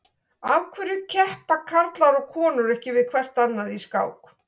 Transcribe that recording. Af hverju keppa karlar og konur ekki við hvert annað í skák?